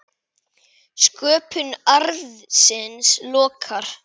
Sköpun arðsins lokkar.